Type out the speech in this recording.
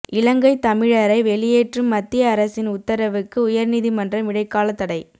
இலங்கை தமிழரை வெளியேற்றும் மத்திய அரசின் உத்தரவுக்கு உயர்நீதிமன்றம் இடைக்கால தடை